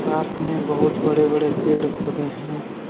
में बहुत बड़े बड़े पेड़ पौधे हैं।